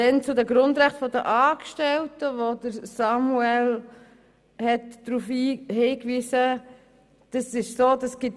Noch zu den Grundrechten der Angestellten, die Samuel Leuenberger angesprochen hat: